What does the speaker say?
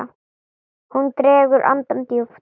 Hún dregur andann djúpt.